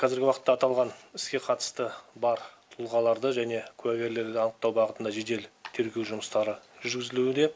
қазіргі уақытта аталған іске қатысты бар тұлғаларды және куәгерлерді анықтау бағытында жедел тергеу жұмыстары жүргізілуде